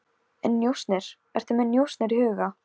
En njósnir, ertu með njósnir í huga?